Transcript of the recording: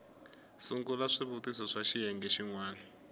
sungula swivutiso swa xiyenge xin